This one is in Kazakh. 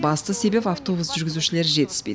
басты себебі автобус жүргізушілері жетіспеді